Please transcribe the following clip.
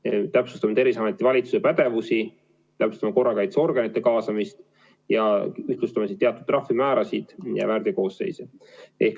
Veel täpsustame Terviseameti ja valitsuse pädevust, korrakaitseorganite kaasamist ja ühtlustame teatud trahvimäärasid ja väärteokoosseise.